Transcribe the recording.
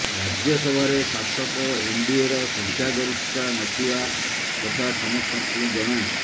ରାଜ୍ୟସଭାରେ ଶାସକ ଏନଡିଏର ସଂଖ୍ୟାଗରିଷ୍ଠତା ନଥିବା କଥା ସମସ୍ତଙ୍କୁ ଜଣା